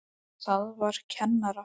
Það var kennara